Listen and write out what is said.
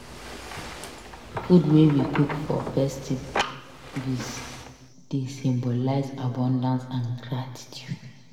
Food wey we cook for festivities dey symbolize abundance and gratitude.